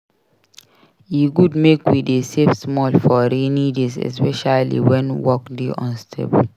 E good make we dey save small for rainy days especially wen work dey unstable.